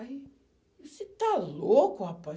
Aí, você está louco, rapaz?